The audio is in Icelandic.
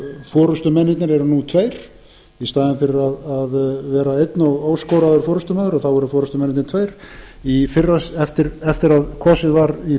forustumennirnir eru nú tveir í staðinn fyrir að vera einn og óskoraður forustumaður eru forustumennirnir tveir eftir að kosið var í fyrra